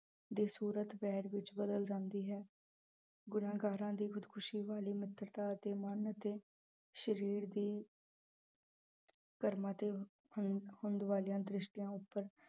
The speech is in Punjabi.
ਦੀ ਸੂਰਤ ਵੈਰ ਵਿੱਚ ਬਦਲ ਜਾਂਦੀ ਹੈ, ਗੁਨਾਂਹਗਾਰਾਂ ਦੀ ਖ਼ੁਦਕੁਸ਼ੀ ਵਾਲੀ ਮਿੱਤਰਤਾ ਅਤੇ ਮਨ ਅਤੇ ਸਰੀਰ ਦੀ ਕਰਮਾਂ ਤੇ ਹੁੰ ਵਾਲੀਆਂ ਦ੍ਰਿਸ਼ਟੀਆਂ ਉੱਪਰ